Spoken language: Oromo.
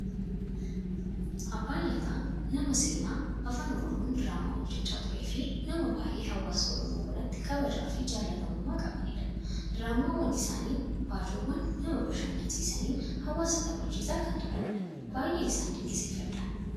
Abbaan lataa nama seenaa afaan oromoon diraamaa hojjechaa turee fi nama baayyee hawaasa Oromoo biratti kabajaa fi jalatamummaa qabanidha. Diraamaawwan isaanii fi baacoowwan nama bashannansiisaniin hawaasa taphachiisaa kan turanidha. Baayyeen isaan dinqisiifadha.